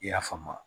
I y'a faamu